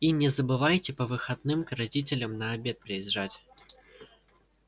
и не забывайте по выходным к родителям на обед приезжать